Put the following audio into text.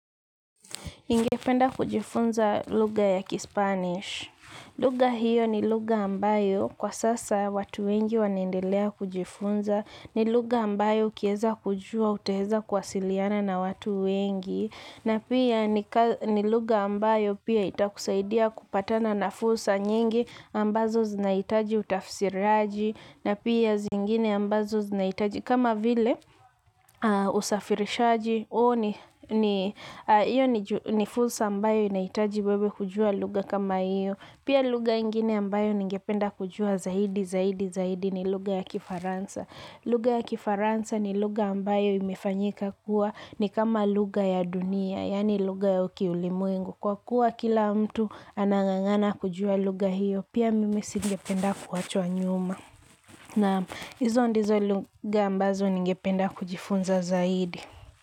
Ningependa kujifunza lugha ya kispanish. Lugha hiyo ni lugha ambayo kwa sasa watu wengi wanaendelea kujifunza. Ni lugha ambayo ukiweza kujua, utaweza kuwasiliana na watu wengi. Na pia ni lugha ambayo pia itakusaidia kupatana na fursa nyingi ambazo zinahitaji utafsiraji na pia zingine ambazo zinahitaji kama vile usafirishaji huo ni hiyo ni fursa ambayo inahitaji wewe kujua lugha kama hiyo. Pia lugha ingine ambayo ningependa kujua zaidi, zaidi, zaidi ni lugha ya Kifaransa. Lugha ya Kifaransa ni lugha ambayo imefanyika kuwa ni kama lugha ya dunia, yani lugha ya ukiulimwengu. Kwa kuwa kila mtu anang'ang'ana kujua lugha hiyo, pia mimi singependa kuachwa nyuma. Naam hizo ndizo lugha ambazo ningependa kujifunza zaidi.